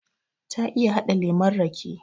Ta iya haɗa lemon rake